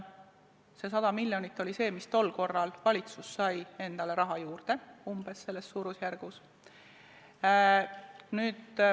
See 100 miljonit oli see, kui palju tol korral valitsus sai endale raha juurde, selles suurusjärgus.